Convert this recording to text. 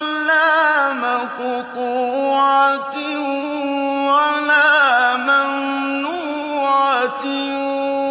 لَّا مَقْطُوعَةٍ وَلَا مَمْنُوعَةٍ